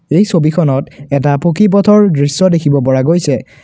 এই ছবিখনত এটা পকী পথৰ দৃশ্য দেখিব পৰা গৈছে।